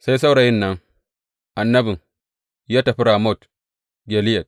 Sai saurayin nan, annabi, ya tafi Ramot Gileyad.